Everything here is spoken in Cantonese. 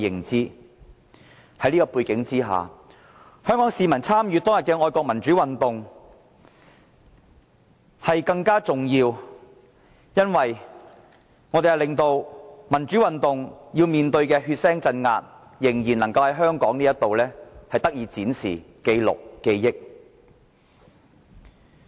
在這個背景之下，香港市民參與六四愛國民主運動紀念更為重要，因為我們要令民主運動面對的血腥鎮壓在香港仍得以展示、記錄、記憶。